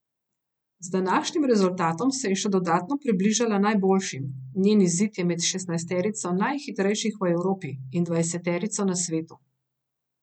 Z današnjim rezultatom se je še dodatno približala najboljšim, njen izid je med šestnajsterico najhitrejših v Evropi in dvajseterico na svetu.